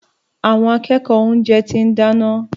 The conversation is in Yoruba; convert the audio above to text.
Àwọn akẹ́kọ̀ọ́ oúnjẹ ti ń dáná.